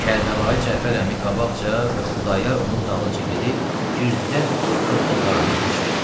Kərbəlayi Cəfər əmi qabaqca və Xudayar onun dalınça gedib, girdilər bir xırda qaranlıq hücrəyə.